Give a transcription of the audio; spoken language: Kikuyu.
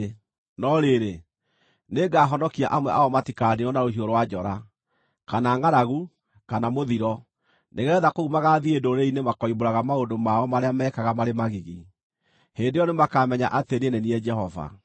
No rĩrĩ, nĩngahonokia amwe ao matikaniinwo na rũhiũ rwa njora, kana ngʼaragu, kana mũthiro, nĩgeetha kũu magaathiĩ ndũrĩrĩ-inĩ makoimbũraga maũndũ mao marĩa meekaga marĩ magigi. Hĩndĩ ĩyo nĩmakamenya atĩ niĩ nĩ niĩ Jehova.”